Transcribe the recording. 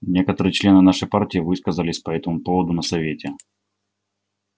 некоторые члены нашей партии высказались по этому поводу на совете